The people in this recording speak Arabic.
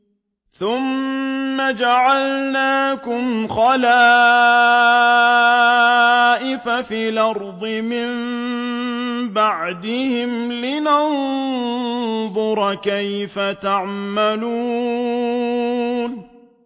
ثُمَّ جَعَلْنَاكُمْ خَلَائِفَ فِي الْأَرْضِ مِن بَعْدِهِمْ لِنَنظُرَ كَيْفَ تَعْمَلُونَ